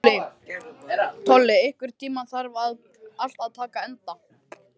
Tolli, einhvern tímann þarf allt að taka enda.